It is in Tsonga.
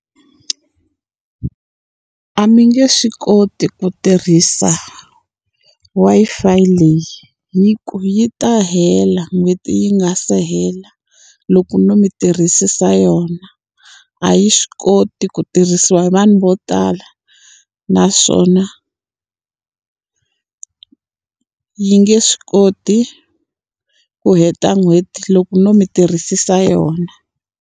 A mi nge swi koti ku tirhisa Wi-Fi leyi, hi ku yi ta hela n'hweti yi nga se hela loko no mi tirhisisa yona. A yi swi koti ku tirhisiwa hi vanhu vo tala, naswona yi nge swi koti ku heta n'hweti loko no mi tirhisisa yona.